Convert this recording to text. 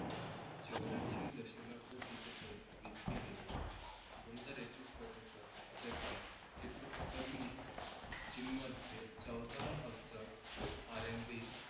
चौर्याऐंशी दश अब्ज तिकिटे विकली गेली. दोन हजार एकवीस पर्यंत त्याचा चित्रपटांनी चीनमध्ये चौदा अब्ज RNB